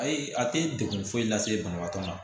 Ayi a tɛ degun foyi lase banabaatɔ ma